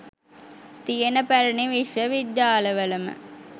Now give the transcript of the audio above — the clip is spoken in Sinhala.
තියෙන පැරණි විශ්ව විද්‍යාලවලම